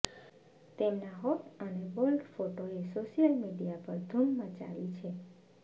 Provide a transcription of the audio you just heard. તેમના હોટ અને બોલ્ડ ફોટોએ સોશિયલ મીડિયા પર ધુમ મચાવી છે